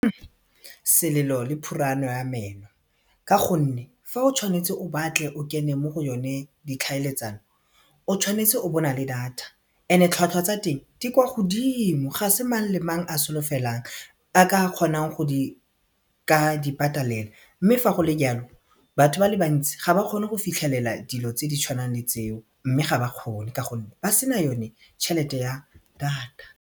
Selelo le phurano ya meno ka gonne fa o tshwanetse o batle o kene mo go yone ditlhaeletsano o tshwanetse o bo na le data and-e tlhwatlhwa tsa teng di kwa godimo ga se mang le mang a solofelang a ka kgonang go di ka di patalela mme fa go le jalo batho ba le bantsi ga ba kgone go fitlhelela dilo tse di tshwanang le tseo mme ga ba kgone ka gonne ba sena yone tšhelete ya data.